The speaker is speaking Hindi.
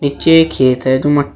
नीचे एक खेत है जो मट्टी--